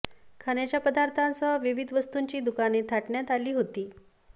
खाण्याच्या पदार्थासह विविध वस्तूंची दुकाने थाटण्यात आली होती